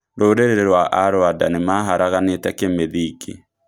"Rũriri rwa Arwanda nĩmaharaganĩte kĩmĩthingi.